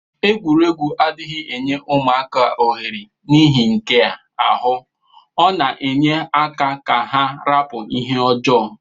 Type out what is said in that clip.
Egwuregwu adighi enye ụmaka ohere nihi nkea ahu ọna enye aka ka ha rapu ihe ọjọ.